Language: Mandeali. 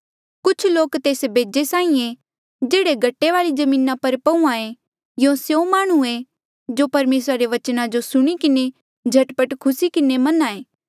कुछ लोक तेस बेजे साहीं ऐें जेह्ड़े गट्टे वाली जमीना पर पहूंआं ऐें यूं स्यों माह्णुं ऐें जो परमेसरा रे बचना जो सुणी किन्हें झट पट खुसी किन्हें मन्हां ऐें